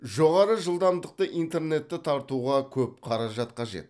жоғары жылдамдықты интернетті тартуға көп қаражат қажет